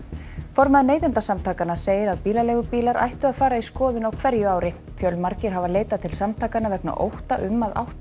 formaður Neytendasamtakanna segir að bílaleigubílar ættu að fara í skoðun á hverju ári fjölmargir hafa leitað til samtakanna vegna ótta um að átt